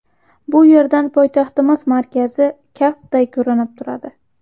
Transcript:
Bu yerdan poytaxtimiz markazi kaftday ko‘rinib turadi.